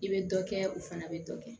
I bɛ dɔ kɛ o fana bɛ dɔ kɛ